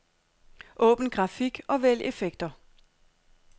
Åbn grafik og vælg effekter.